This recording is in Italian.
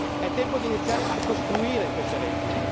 È tempo di iniziare a costruire queste reti.